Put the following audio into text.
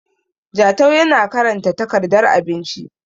Jatau yana karanta takardar abinci